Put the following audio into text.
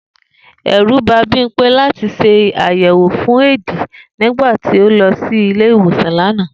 È̩rù ba Bímpé láti s̩e àyè̩ẁò fún éèdì nĩgbà tó lo̩ sí ilé ìwòsàn lánàá